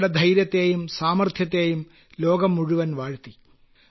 അവരുടെ ധൈര്യത്തെയും സാമർത്ഥ്യത്തെയും ലോകം മുഴുവൻ വാഴ്ത്തി